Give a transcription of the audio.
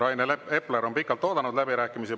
Rain Epler on pikalt oodanud läbirääkimisi.